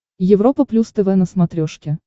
европа плюс тв на смотрешке